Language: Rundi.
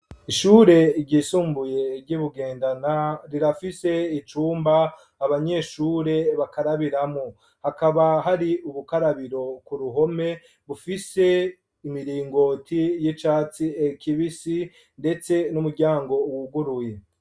Ishure ryisumbuye ry'i Bugendana, rirafise icumba abanyeshure bakarabiramwo, hakaba hari ubukarabiro ku ruhome bufise imiringoti y'icatsi kibisi ndetse n'umuryango wuguruye.